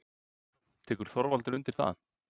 Tekur Þorvaldur undir það?